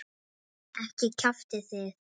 Ekki kjaftið þið.